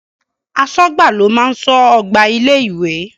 Aṣọ́gbà ló máa ń ṣọ́ ọgbà ilé ìwé.